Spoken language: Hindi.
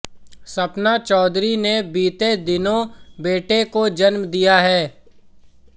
सपना चौधरी ने बीते दिनों बेटे को जन्म दिया है